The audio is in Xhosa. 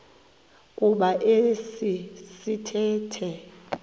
kuba esi sithethe